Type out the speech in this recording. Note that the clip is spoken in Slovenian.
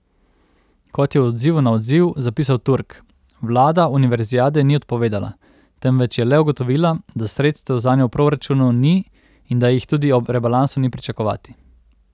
Kot je v odzivu na odziv zapisal Turk, vlada univerziade ni odpovedala, temveč je le ugotovila, da sredstev zanjo v proračunu ni in da jih tudi ob rebalansu ni pričakovati.